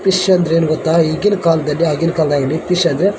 fish ಅಂದ್ರೆ ಏನು ಗೊತ್ತಾ ಈಗಿನ ಕಾಲದಲ್ಲಿ ಆಗಿನ ಕಾಲದಲ್ಲಿ ಆಗಲಿ ಫಿಶ್ ಅಂದರೆ --